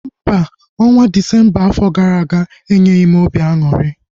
Mba, ọnwa afọ gara aga enyeghị m obi aṅụrị